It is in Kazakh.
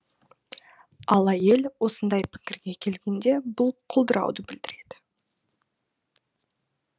ал әйел осындай пікірге келгенде бұл құлдырауды білдіреді